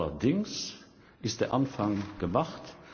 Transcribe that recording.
Allerdings ist der Anfang gemacht.